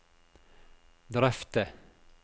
drøfte